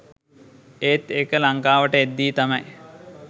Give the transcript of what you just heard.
ඒත් ඒක ලංකාවට එද්දි තමයි